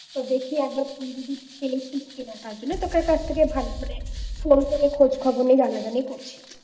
দেখি একবার তুই যদি পেয়েছিস কিনা তাই জন্য তোদের কাছ থেকে ভালো করে phone করে খোঁজখবর নিয়ে জানা জানি করছি